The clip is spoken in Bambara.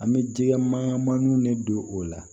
An bɛ jɛgɛ mananiw ne don o la